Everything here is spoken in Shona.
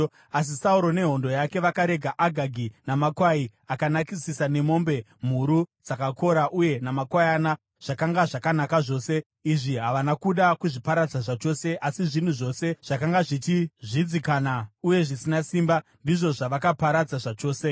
Asi Sauro nehondo yake vakarega Agagi namakwai akanakisisa nemombe, mhuru dzakakora uye namakwayana, zvakanga zvakanaka zvose. Izvi havana kuda kuzviparadza zvachose, asi zvinhu zvose zvakanga zvichizvidzikana uye zvisina simba ndizvo zvavakaparadza zvachose.